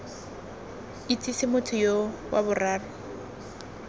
itsese motho yoo wa boraro